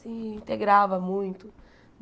se integrava muito.